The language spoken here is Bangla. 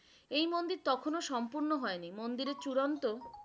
এই মন্দির তখনো সম্পূর্ণ হয়নি, মন্দিরের চুড়ান্ত।